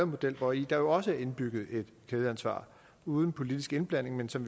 model hvori der også er indbygget et kædeansvar uden politisk indblanding men som